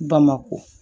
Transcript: Bamakɔ